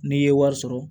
N'i ye wari sɔrɔ